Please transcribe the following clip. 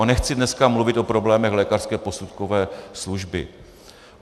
A nechci dneska mluvit o problémech lékařské posudkové služby.